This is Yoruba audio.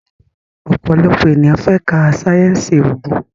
òpòlopò ènìyàn fè ká sáyẹnsì oògùn.